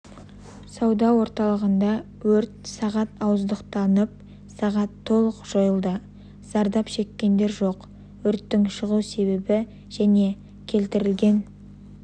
сауда орталығындағы өрт сағат ауыздықтанып сағат толық жойылды зардап шеккендер жоқ өрттің шығу себебі және келтірілген